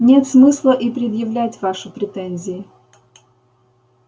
нет смысла и предъявлять ваши претензии